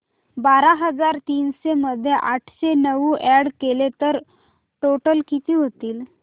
बारा हजार तीनशे मध्ये आठशे नऊ अॅड केले तर टोटल किती होईल